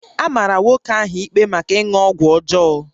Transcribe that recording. A mara nwoke ahụ ikpe maka ịṅụ ọgwụ ọjọọ